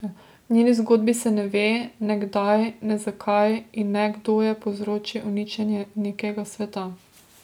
V njeni zgodbi se ne ve, ne kdaj, ne zakaj in ne kdo je povzročil uničenje nekega sveta.